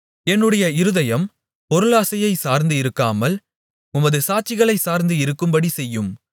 என்னுடைய இருதயம் பொருளாசையைச் சார்ந்து இருக்காமல் உமது சாட்சிகளைச் சார்ந்து இருக்கும்படி செய்யும்